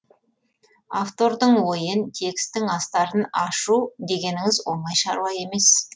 автордың ойын текстің астарын ашу дегеніңіз оңай шаруа емес